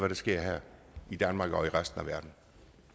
der sker her i danmark og i resten af verden